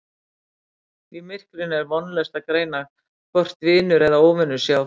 Í myrkrinu er vonlaust að greina hvort vinur eða óvinur sé á ferð